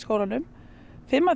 fimm